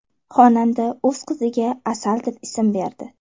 Xonanda o‘z qiziga Asal deb ism berdi.